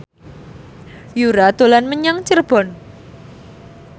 Yura dolan menyang Cirebon